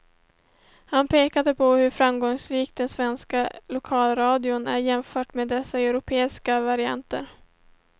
Han pekar på hur framgångsrik den svenska lokalradion är jämfört med dess europeiska varianter.